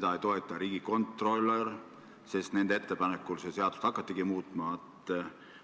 ega riigikontrolör – nende ettepanekul seda seadust muutma hakatigi.